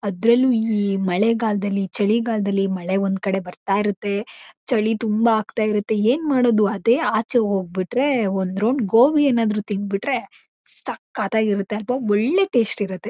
ಅಧ್ರಲ್ಲೂ ಈ ಮಳೆಗಾಲದಲ್ಲಿ ಚಳಿಗಾಲ್ದಲ್ಲಿ ಮಳೆ ಒಂದ್ ಕಡೆ ಬರ್ಥಇರುಥೆ. ಚಳಿ ತುಂಬ ಆಖ್ತಇರುಥೆ ಏನ್ ಮಾಡೊದು. ಅದೇ ಆಚೆ ಹೋಗ್ಬಿಟ್ರೆ ಒಂದ್ ರೌಂಡ್ ಗೋಬಿ ಏನಾದ್ರು ತಿಂದ್ಬಿಟ್ರೆ ಸಕತ್ ಆಗಿ ಇರುತ್ತೆ ಒಳ್ಳೆ ಟೇಸ್ಟ್ ಇರುತ್ತೆ.